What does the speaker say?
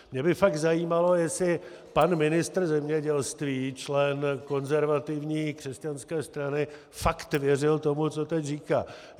Mě by fakt zajímalo, jestli pan ministr zemědělství, člen konzervativní křesťanské strany, fakt věřil tomu, co teď říká.